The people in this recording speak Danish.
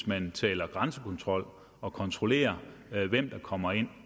man taler grænsekontrol at kontrollere hvem der kommer ind